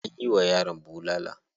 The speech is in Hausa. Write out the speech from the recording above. Anyi wa yaron bulala.